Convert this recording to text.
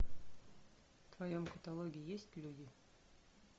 в твоем каталоге есть люди